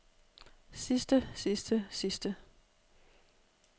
sidste sidste sidste